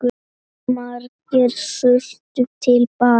Margir sultu til bana.